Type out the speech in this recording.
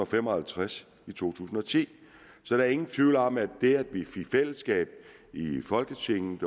fem og halvtreds i to tusind og ti så der er ingen tvivl om at det at vi i fællesskab folketinget